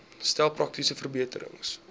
stel praktiese verbeterings